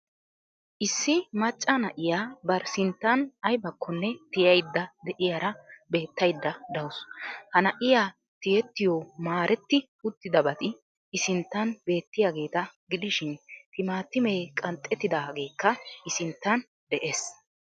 Issi macca na'iya bari sinttan aybakkonne tiyaydda de; iyara beettaydda dawusu. Ha na'iya tiyettiyo maaretti uttidabati i sinttan beettiyageeta gidishin timaatimee qanxxetaageekka i sinttan dees.